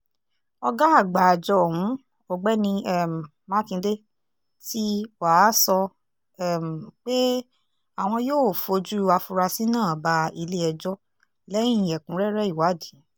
ọ̀gá àgbà àjọ ọ̀hún ọ̀gbẹ́ni um makinde tí wàá sọ um pé àwọn yóò fojú àfurasí náà bá ilé-ẹjọ́ lẹ́yìn ẹ̀kúnrẹ́rẹ́ ìwádìí